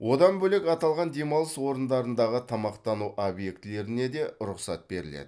одан бөлек аталған демалыс орындарындағы тамақтану объектілеріне де рұқсат беріледі